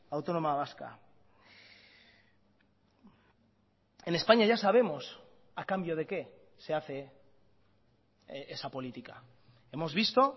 autónoma vasca en españa ya sabemos a cambio de qué se hace esa política hemos visto